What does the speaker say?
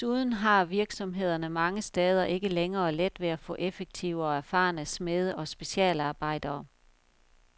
Desuden har virksomhederne mange steder ikke længere let ved at få effektive og erfarne smede og specialarbejdere.